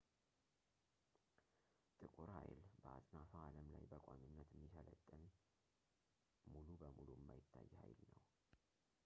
ጥቁር ሀይል በአጽናፈ አለም ላይ በቋሚነት የሚሰለጥን ሙሉ በሙሉ የማይታይ ኃይል ነው